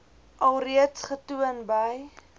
alreeds getoon by